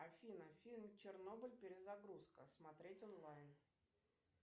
афина фильм чернобыль перезагрузка смотреть онлайн